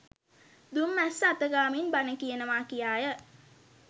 දුම් මැස්ස අත ගාමින් බණ කියනවා කියාය.